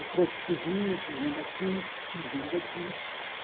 O trânsito que vinha que vinha daqui, que vinha daqui.